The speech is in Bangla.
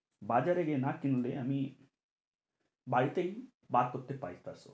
বাজারে গিয়ে না কিনলে আমি বাড়িতেই বার করতে পার ব্যাস,